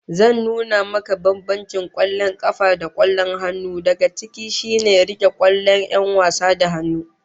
Zan nuna maka bambancin kwallon kafa da kwallon hannu, daga ciki shine rike kwallon 'yan wasa da hannu